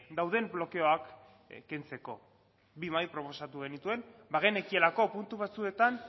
dauden blokeoak kentzeko bi mahai proposatu genituen bagenekielako puntu batzuetan